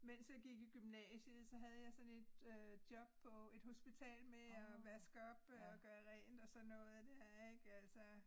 Mens jeg gik i gymnasiet så havde jeg sådan et øh job på et hospital med at vaske op øh og gøre rent og sådan noget dér ikke altså